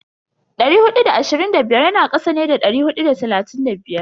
Dari hudu da ashirin da biyar yana kasa ne da dari hudu da talatin da biyar.